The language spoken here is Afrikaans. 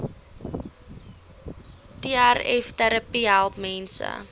trvterapie help mense